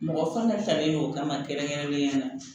Mɔgɔ fana talen o kama kɛrɛnkɛrɛnnenya la